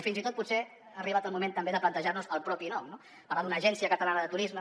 i fins i tot potser ha arribat el moment també de plantejar nos el propi nom no parlar d’una agència catalana de turisme